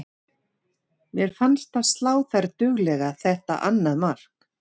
Mér fannst það slá þær duglega þetta annað mark.